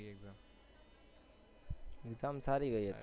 exam સારી ગઈ હતી